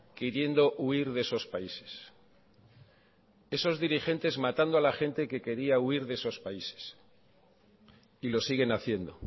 queriendo huir de esos países esos dirigentes matando a la gente que quería huir de esos países y lo siguen haciendo